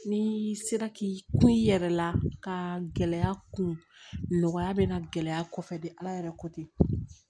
Ni sera k'i kun i yɛrɛ la ka gɛlɛya kun nɔgɔya bɛ na gɛlɛya kɔfɛ ala yɛrɛ ko ten